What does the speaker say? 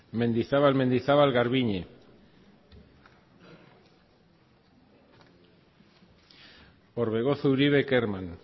mendizabal mendizabal garbiñe orbegozo uribe kerman